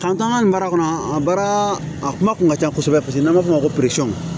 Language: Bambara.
an ka nin mara kɔnɔ a baara a kuma kun ka ca kosɛbɛ paseke n'an b'a f'o ma ko